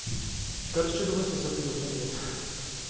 короче давайте за предложение это